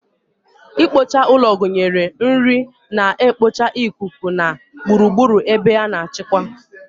Ikpocha ụlọ gụnyere nri na-ekpocha ikuku na gburugburu ebe a na-achịkwa.